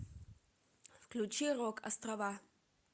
включи рок острова